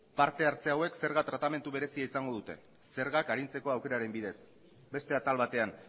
parte hartze hauek zerga tratamendu berezia izango dute zergak arintzeko aukeraren bidez beste atal batean